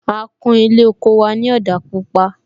A kún Ilé oko wa ni òdà pupa